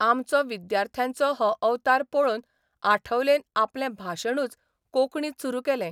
आमचो विद्यार्थ्यांचो हो अवतार पळोवन आठवलेन आपलें भाशणूच कोंकणींत सुरू केलें.